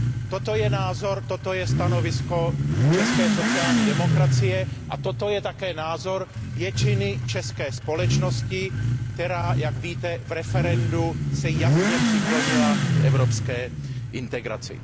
Toto je názor, toto je stanovisko české sociální demokracie, a toto je také názor většiny české společnosti, která se, jak víte, v referendu jasně přiklonila k evropské integraci.